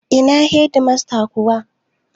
Ina Hedimasta kuwa?